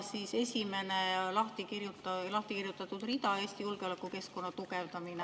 Seal on lahti kirjutatud rida "Eesti julgeolekukeskkonna tugevdamine".